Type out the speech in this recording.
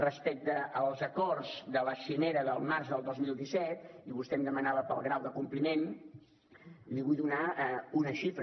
respecte als acords de la cimera del març del dos mil disset vostè demanava pel grau de compliment i li vull donar una xifra